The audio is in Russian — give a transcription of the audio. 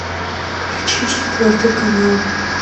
включи четвертый канал